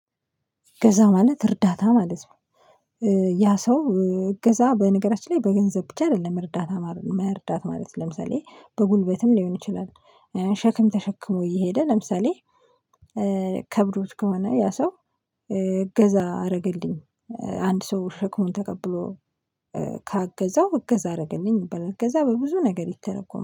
እገዛ ማለት እርዳታ ማለት ነው። ያ ሰው እገዛ በነገራችን ላይ በገንዘብ ብቻ አይደለም እርዳታ መርዳት ማለት ነው። ለምሳሌ በጉልበትም ሊሆን ይችላል፣። ሸክም ተሸክሞ እየሄደ ለምሳሌ ከብዶት ከሆነ ያ ሰው እገዛ አደረገልኝ አንድ ሰው ሸክሙን ተቀብሎ ካገዛው እገዛ አደረገልኝ ይባላል። ከዛ በብዙ ነገር ይተረጎማል፣